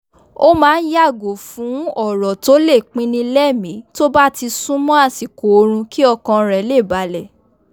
ó máa n yàgò fun ọ̀rọ̀ tó le pinnilẹ́mì tó bá ti súnmọ́ àṣikò oorun kí ọkàn rẹ̀ le balẹ̀